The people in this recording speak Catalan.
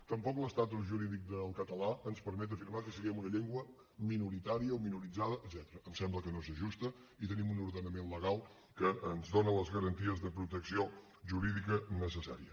tampoc l’estatus jurídic del català ens permet afirmar que siguem una llengua minoritària o minoritzada etcètera em sembla que no s’ajusta i tenim un ordenament legal que ens dona les garanties de protecció jurídica necessària